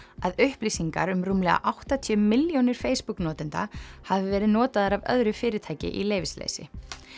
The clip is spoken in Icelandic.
að upplýsingar um rúmlega áttatíu milljónir Facebook notenda hafi verið notaðar af öðru fyrirtæki í leyfisleysi